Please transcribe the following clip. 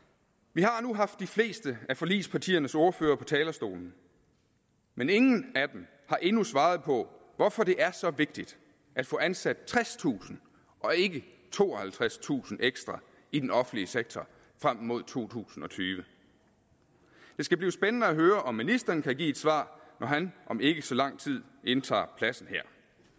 vi har nu haft de fleste af forligspartiernes ordførere på talerstolen men ingen af dem har endnu svaret på hvorfor det er så vigtigt at få ansat tredstusind og ikke tooghalvtredstusind ekstra i den offentlige sektor frem mod to tusind og tyve det skal blive spændende at høre om ministeren kan give et svar når han om ikke så lang tid indtager pladsen her